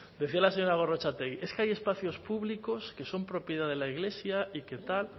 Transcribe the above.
decía la señora gorrotxategi es que hay espacios públicos que son propiedad de la iglesia y que tal